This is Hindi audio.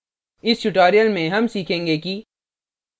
इस tutorial में हम सीखेंगे कि